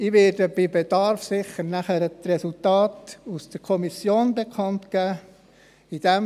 Bei Bedarf werde ich nachher sicher die Resultate aus der Kommission bekannt geben.